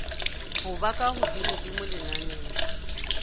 ho ba ka hodimodimo lenaneng